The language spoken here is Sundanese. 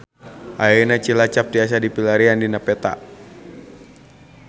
Ayeuna Cilacap tiasa dipilarian dina peta